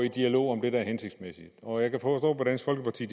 i dialog om det der er hensigtsmæssigt og jeg kan forstå på dansk folkeparti